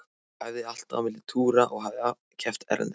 Ég æfði alltaf á milli túra og hafði keppt erlendis.